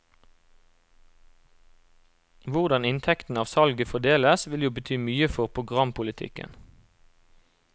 Hvordan inntektene av salget fordeles vil jo bety mye for programpolitikken.